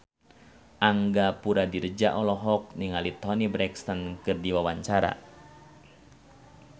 Angga Puradiredja olohok ningali Toni Brexton keur diwawancara